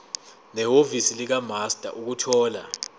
nehhovisi likamaster ukuthola